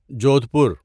Jodhpur